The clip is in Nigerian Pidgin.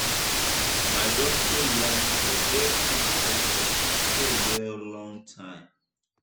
my doctor yarn say break fit help person stay well long time.